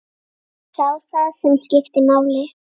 Sá það sem skipti máli.